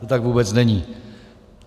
To tak vůbec není.